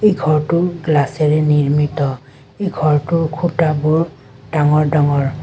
এই ঘৰটোৰ গ্লাচেৰে নিৰ্মিত এই ঘৰটোৰ খুঁটাবোৰ ডাঙৰ ডাঙৰ।